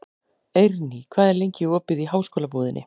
Eirný, hvað er lengi opið í Háskólabúðinni?